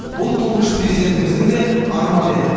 бұл тұңғыш президентіміздің де арманы еді